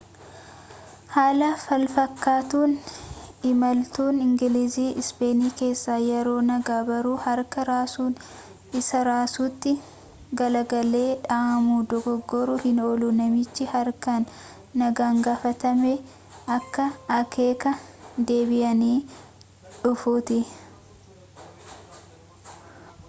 haala falfakkaatuun imaltuun ingilizii ispeenii keessa yeroo nagaa barruu harkaa raasuun isa raasutti galagalee dhaamu dogoggoruu hin oolu namichi haarkaan nagaan gaafatamee akka akeeka deebiyanii dhufuutti